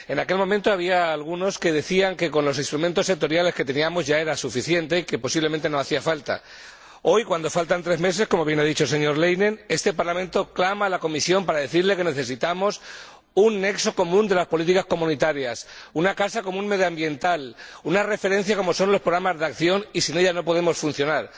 En aquel momento había algunos que decían que, con los instrumentos y las autoridades que teníamos ya era suficiente y que posiblemente no hacía falta. Hoy, cuando faltan tres meses como bien ha dicho el señor Leinen este Parlamento clama a la Comisión para decirle que necesitamos un nexo común de las políticas comunitarias, una casa común medioambiental, una referencia, como son los programas de acción, y que sin ella no podemos funcionar.